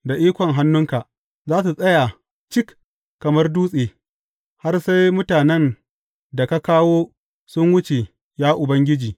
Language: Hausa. Da ikon hannunka za su tsaya cik kamar dutse, har sai mutanen da ka kawo sun wuce, ya Ubangiji.